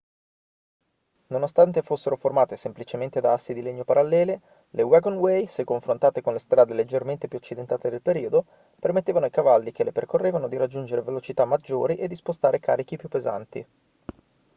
nonostante fossero formate semplicemente da assi in legno parallele le wagonway se confrontate con le strade leggermente più accidentate del periodo permettevano ai cavalli che le percorrevano di raggiungere velocità maggiori e di spostare carichi più pesanti